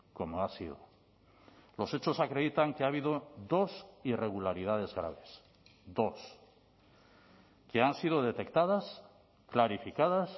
como ha sido los hechos acreditan que ha habido dos irregularidades graves dos que han sido detectadas clarificadas